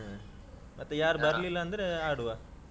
ಹ್ಮ್ ಮತ್ತೆ ಯಾರ್ ಬರ್ಲಿಲ್ಲಾಂದ್ರೆ ಆಡುವ.